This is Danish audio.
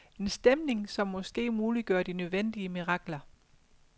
En stemning, som måske muliggør de nødvendige mirakler.